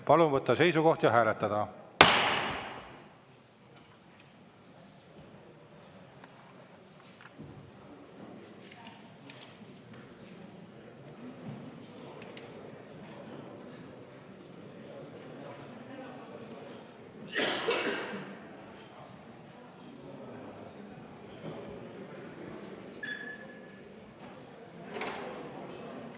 Palun võtta seisukoht ja hääletada!